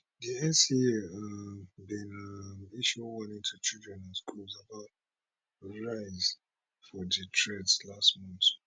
di nca um bin um issue warning to children and schools about rise for di threats last month